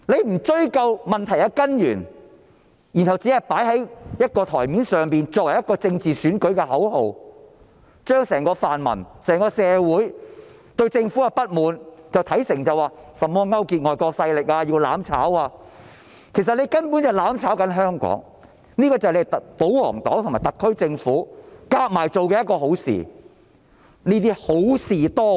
他們不追究問題的根源，只懂在桌面上擺放政治選舉的口號，把整個泛民陣營和社會對政府的不滿視為甚麼勾結外國勢力、"攬炒"等，其實他們所做的根本是在"攬炒"香港，這便是保皇黨及特區政府聯手做的好事，他們正是好事多為。